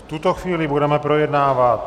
V tuto chvíli budeme projednávat